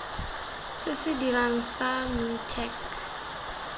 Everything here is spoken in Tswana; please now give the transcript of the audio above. se se dirang sa mintech